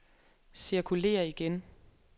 cirkulér igen